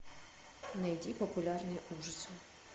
найди популярные ужасы